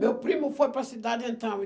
Meu primo foi para a cidade então.